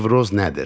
Nevroz nədir?